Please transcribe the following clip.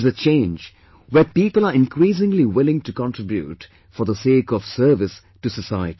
It is a change where people are increasingly willing to contribute for the sake of service to society